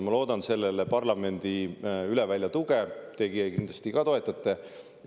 Ma loodan sellele parlamendi tuge – teie kindlasti ka toetate.